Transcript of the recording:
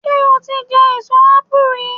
Ṣé o ti jẹ èso ápù rí?